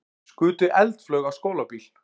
Skutu eldflaug á skólabíl